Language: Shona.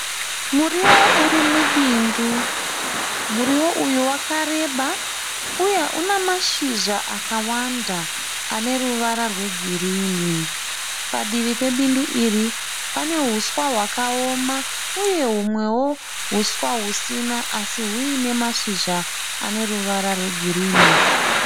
Muriwo urimubindu. Muriwo uyu wakareba, uye una mashizha akawanda aneruvara rwegirinhi. Padivi pebindu iri, pane huswa hwakaoma uye hunwewo huswa husina asi huine mashizha aneruvara rwegirinhi.